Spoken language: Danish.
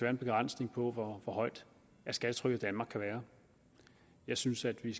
en begrænsning på hvor højt skattetrykket i danmark kan være jeg synes at vi